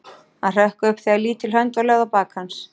Hann hrökk upp þegar lítil hönd var lögð á bak hans.